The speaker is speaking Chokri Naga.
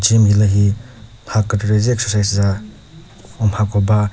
om hilühi mha kükre kre zü exercise za umhako ba.